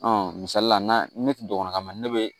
misali la ne ti dɔgɔnin ne be